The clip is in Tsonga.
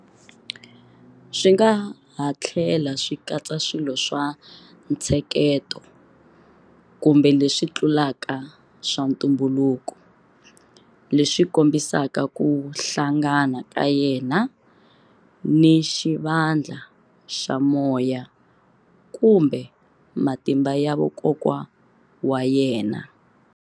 Swi nga ha tlhela swi katsa swilo swa ntsheketo kumbe leswi tlulaka swa ntumbuluko, leswi kombisaka ku hlangana ka yena ni xivandla xa moya kumbe matimba ya vakokwa wa yena.